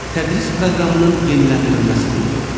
Tədris proqramının yeniləndirilməsi qrupu.